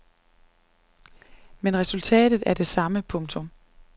Men resultatet er det samme. punktum